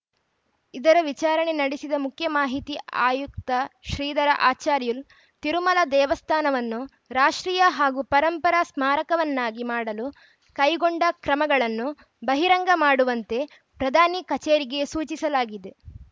ಇದರ ವಿಚಾರಣೆ ನಡೆಸಿದ ಮುಖ್ಯ ಮಾಹಿತಿ ಆಯುಕ್ತ ಶ್ರೀಧರ ಆಚಾರ್ಯುಲು ತಿರುಮಲ ದೇವಸ್ಥಾನವನ್ನು ರಾಷ್ಟ್ರೀಯ ಹಾಗೂ ಪರಂಪರಾ ಸ್ಮಾರಕವನ್ನಾಗಿ ಮಾಡಲು ಕೈಗೊಂಡ ಕ್ರಮಗಳನ್ನು ಬಹಿರಂಗ ಮಾಡುವಂತೆ ಪ್ರಧಾನಿ ಕಚೇರಿಗೆ ಸೂಚಿಸಲಾಗಿದೆ